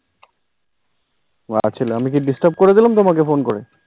ছিলো, আমি কি disturbe কোরে দিলাম তোমাকে ফোন করে?